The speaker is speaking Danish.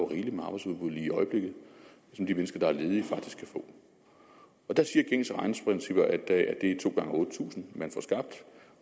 rigeligt med arbejdsudbud lige i øjeblikket som de mennesker der er ledige faktisk kan få og der siger gængse regneprincipper at to gange otte tusind